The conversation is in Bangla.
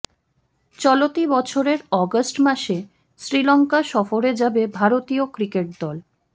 চলতি বছরের অগাস্ট মাসে শ্রীলঙ্কা সফরে যাবে ভারতীয় ক্রিকেট দল